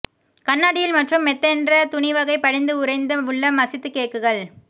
கண்ணாடியில் மற்றும் மெத்தென்ற துணி வகை படிந்து உறைந்த உள்ள மசித்து கேக்குகள்